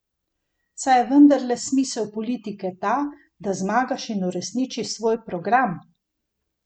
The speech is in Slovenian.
Saj je vendarle smisel politike ta, da zmagaš in uresničiš svoj program?